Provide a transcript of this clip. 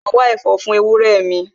Mo ma wá ẹ̀fọ́ fún ewúrẹ́ mi